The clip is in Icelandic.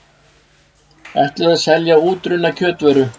Ætluðu að selja útrunna kjötvöru